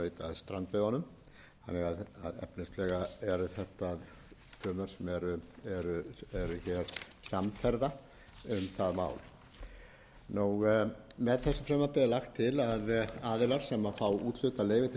samferða um það mál með þessu frumvarpi er lagt til að aðilar sem fá úthlutað leyfi til strandveiða greiði sérstakt strandveiðigjald að fjárhæð fimmtíu